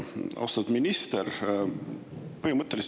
Austatud minister!